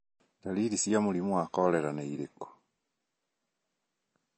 Ndariri cia mũrimũ wa korera irĩkũ ?